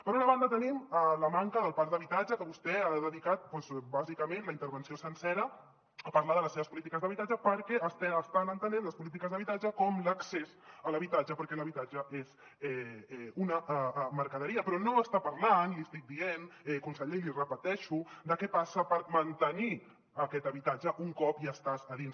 per una banda tenim la manca del parc d’habitatge que vostè ha dedicat doncs bàsicament la intervenció sencera a parlar de les seves polítiques d’habitatge perquè estan entenent les polítiques d’habitatge com l’accés a l’habitatge perquè l’habitatge és una mercaderia però no està parlant li estic dient conseller i l’hi repeteixo de què passa per mantenir aquest habitatge un cop hi estàs a dins